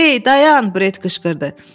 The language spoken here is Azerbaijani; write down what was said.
Ey, dayan, Bret qışqırdı.